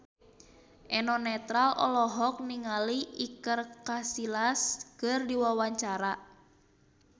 Eno Netral olohok ningali Iker Casillas keur diwawancara